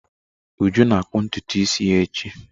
Uju na akpu ntutu isi ya echi.